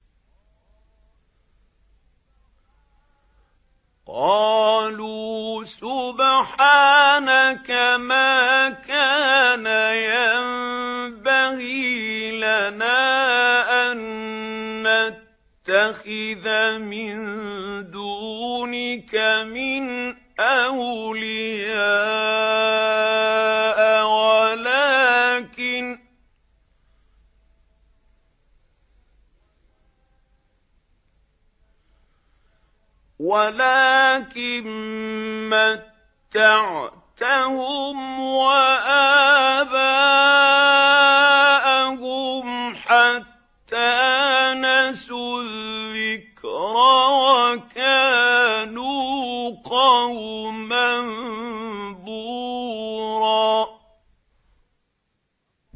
قَالُوا سُبْحَانَكَ مَا كَانَ يَنبَغِي لَنَا أَن نَّتَّخِذَ مِن دُونِكَ مِنْ أَوْلِيَاءَ وَلَٰكِن مَّتَّعْتَهُمْ وَآبَاءَهُمْ حَتَّىٰ نَسُوا الذِّكْرَ وَكَانُوا قَوْمًا بُورًا